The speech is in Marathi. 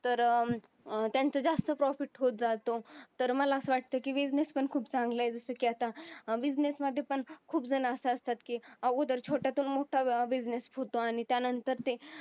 तर अं त्यांचा जास्त profit होत जातो तर मला असं वाटतं की business पण खूप चांगलं आहे जसं की आता अं business मध्ये पण खूप जण असे असतात की अगोदर छोटा तून मोठा business होतो आणि त्यानंतर ते